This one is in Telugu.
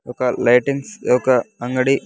ఒక లైటింగ్స్ ఈ ఒక అంగడి .